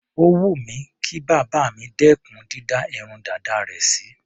Ó wù mí kí bàbá mi dẹ́kùn dídá irun dàda rẹ̀ sí.